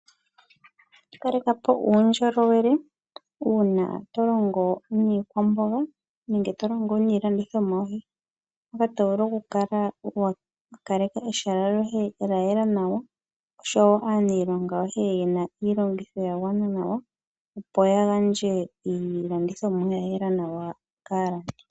Kaleka po uudjolowele uuna to longo niikwamboga nenge to longo niilandithomwa yoye. Mpoka to vulu okukaleka ehala lyoye lya yela nawa osho wo aaniilonga yoye yena iilongitho ya gwana nawa opo ya gandje iilandithomwa ya yela nawa kaalandi.